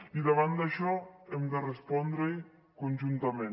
i davant d’això hem de respondre conjuntament